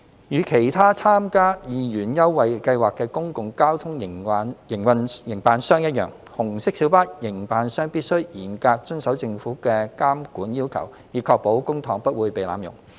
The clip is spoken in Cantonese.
與其他參加二元優惠計劃的公共交通營辦商一樣，紅色小巴營辦商必須嚴格遵守政府的監管要求，以確保公帑不會被濫用。